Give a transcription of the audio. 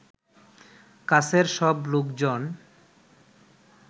কাছের সব লোকজন